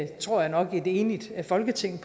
tror jeg nok et enigt folketing